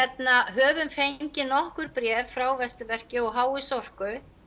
höfum fengið nokkur bréf frá Vesturverki og h s Orku